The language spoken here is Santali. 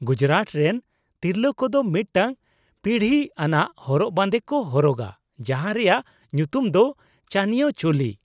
ᱜᱩᱡᱽᱨᱟᱴ ᱨᱮᱱ ᱛᱤᱨᱞᱟᱹ ᱠᱚᱫᱚ ᱢᱤᱫᱴᱟᱝ ᱯᱤᱲᱦᱤ ᱟᱱᱟᱜ ᱦᱚᱨᱚᱜ ᱵᱟᱸᱫᱮ ᱠᱚ ᱦᱚᱨᱚᱜᱟ ᱡᱟᱦᱟᱸ ᱨᱮᱭᱟᱜ ᱧᱩᱛᱩᱢ ᱫᱚ ᱪᱟᱱᱤᱭᱳ ᱪᱳᱞᱤ ᱾